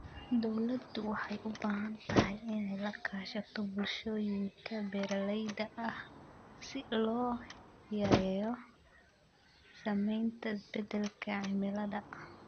Dawladdu waxay u baahan tahay inay la kaashato bulshooyinka beeralayda ah si loo yareeyo saamaynta isbeddelka cimilada.